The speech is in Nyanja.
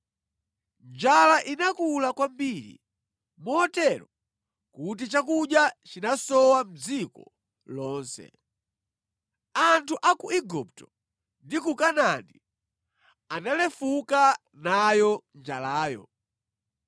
Njala inakula kwambiri motero kuti chakudya chinasowa mʼdziko lonse. Anthu a ku Igupto ndi ku Kanaani analefuka nayo njalayo.